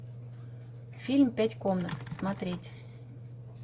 фильм пять комнат смотреть